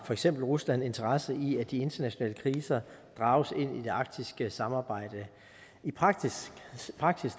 for eksempel rusland har interesse i at de internationale kriser drages ind i det arktiske samarbejde i praksis